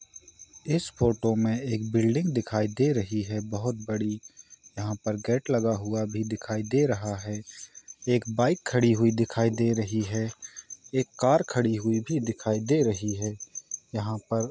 इस फोटो में एक बिल्डिंग दिखाई दे रही है बहुत बड़ी यहाँ पर गेट लगा हुए है भी दिखाई दे रहा है एक बाइक खड़ी हुई दिखाई दे रही है एक कार खड़ी हुई भी दिखाई दे रही हैं यहाँ पर--